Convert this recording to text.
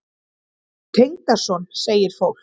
Tengdason? segir fólk.